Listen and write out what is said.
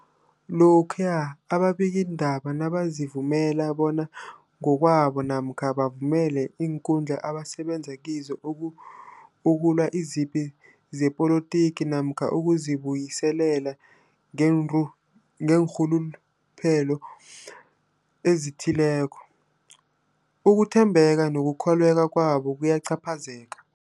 Lokhuya ababikiindaba nabazivumela bona ngokwabo namkha bavumele iinkundla abasebenza kizo uku ukulwa izipi zepolitiki namkha ukuzi buyiselela ngeenru ngeenrhuluphelo ezithileko, ukuthembeka nokukholweka kwabo kuyacaphazeleka.